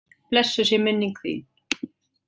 Blessuð sé minning þín.